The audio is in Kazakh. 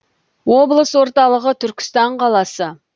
облыс орталығы түркістан қаласы